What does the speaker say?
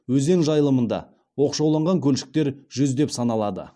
өзен жайылымында оқшауланған көлшіктер жүздеп саналады